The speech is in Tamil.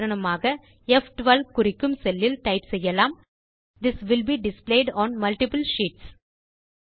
உதாரணமாக ப்12 குறிக்கும் செல்லில் டைப் செய்யலாம் this will be displayed on multiple sheets